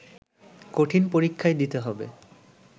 কঠিন পরীক্ষাই দিতে হবে